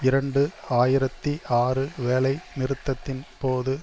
இரண்டு ஆயிரத்தி ஆறு வேலை நிறுத்தத்தின் போது